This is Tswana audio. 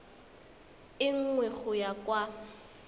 e nngwe go ya kwa